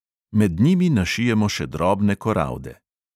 Med njimi našijemo še drobne koralde.